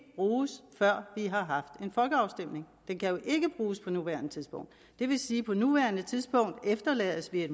bruges før vi har haft en folkeafstemning den kan ikke bruges på nuværende tidspunkt det vil sige at på nuværende tidspunkt efterlades vi i